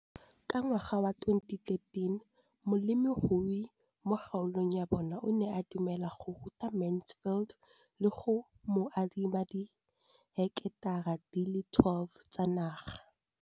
Ka ngwaga wa 2013, molemirui mo kgaolong ya bona o ne a dumela go ruta Mansfield le go mo adima di heketara di le 12 tsa naga.